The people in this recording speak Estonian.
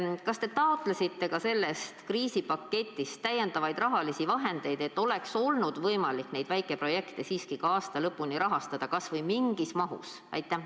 Kas te taotlesite ka sellest kriisipaketist täiendavaid rahalisi vahendeid, et oleks olnud võimalik neid väikeprojekte siiski aasta lõpuni rahastada kas või mingis mahus?